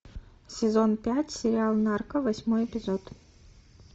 сезон пять сериал нарко восьмой эпизод